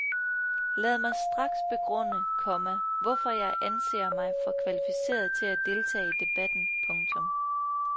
Lad mig straks begrunde, komma hvorfor jeg anser mig for kvalificeret til at deltage i debatten. punktum